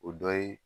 O dɔ ye